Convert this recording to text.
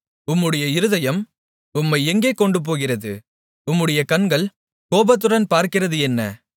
உம்முடைய இருதயம் உம்மை எங்கே கொண்டுபோகிறது உம்முடைய கண்கள் கோபத்துடன் பார்க்கிறது என்ன